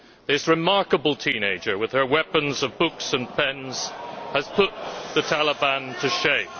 This remarkable teenager, with her weapons of books and pens, has put the Taliban to shame.